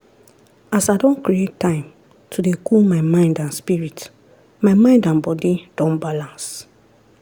as i don create time to dey cool my mind and spirit my mind and bodi don balance.